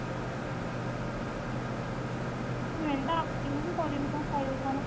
main ତ ଆସିବନି କରିବୁ କଣ ଖାଇବୁ କଣ